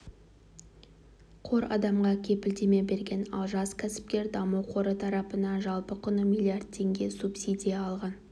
қор адамға кепілдеме берген ал жас кәсіпкер даму қоры тарапынан жалпы құны миллиард теңге субсидия алған